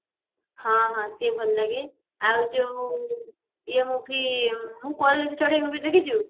ହଁ ହଁ ସିଏ ଭଲ ଲାଗେ ଆଉ ଯାଉ ଇଏ movie movie ଦେଖିଛୁ